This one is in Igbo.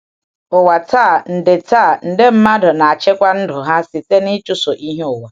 Ụwa taa, nde taa, nde mmadụ na-achịkwa ndụ ha site n’ịchụso ihe ụwa.